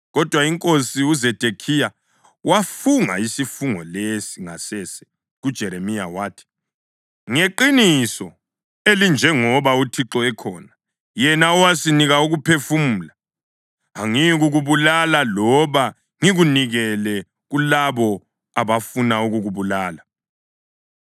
Kodwa inkosi uZedekhiya wafunga isifungo lesi ngasese kuJeremiya, wathi, “Ngeqiniso elinjengoba uThixo ekhona, yena owasinika ukuphefumula, angiyikukubulala loba ngikunikele kulabo abafuna ukukubulala.”